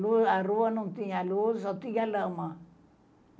Não, a rua não tinha luz, só tinha lama.